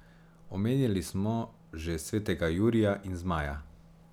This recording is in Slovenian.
Omenili smo že svetega Jurija in zmaja.